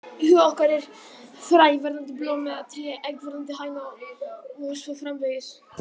Í huga okkar er fræ verðandi blóm eða tré, egg verðandi hæna og svo framvegis.